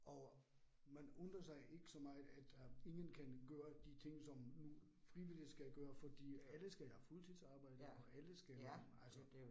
Og man undrer sig ikke så meget, at øh ingen kan gøre de ting som nu frivillige skal gøre fordi alle skal være fuldtidsarbejde og alle skal altså